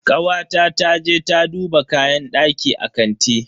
Kawata ta je ta duba kayan daki a kanti.